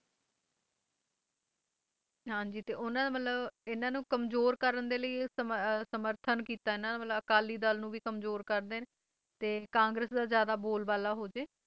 ਹਾਂ ਜੀ ਉਨ੍ਹਾਂ ਨੇ ਮਤਲਬ ਇਨ੍ਹਾਂ ਨੂੰ ਕਮਜ਼ੋਰ ਕਰਨ ਦੇ ਲਈ ਸਮਰਥਨ ਕੀਤਾ ਇਨ੍ਹਾਂ ਨੇ ਮਤਲਬ ਅਕਾਲੀ ਦਲ ਨੂੰ ਵੀ ਕਮਜ਼ੋਰ ਕਰ ਦੇਣ ਕਾਂਗਰੇਸ ਦਾ ਜਿਆਦਾ ਬੋਲ ਬਾਲਾ ਹੋ ਜਾਏ